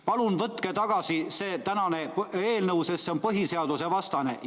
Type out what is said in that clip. Palun võtke tagasi see tänane eelnõu, sest see on põhiseadusevastane!